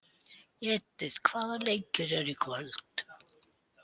Edith, hvaða leikir eru í kvöld?